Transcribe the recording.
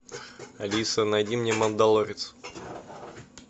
алиса найди мне мандалорец